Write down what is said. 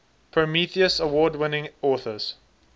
prometheus award winning authors